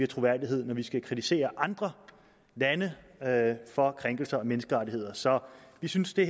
troværdighed når vi skal kritisere andre lande for krænkelser af menneskerettigheder så vi synes det